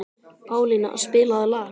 Pálína, spilaðu lag.